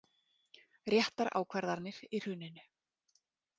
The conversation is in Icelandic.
Réttar ákvarðanir í hruninu